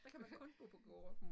Der kan man kun bo på gårde